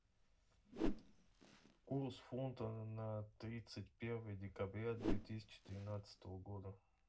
курс фунта на тридцать первое декабря две тысячи тринадцатого года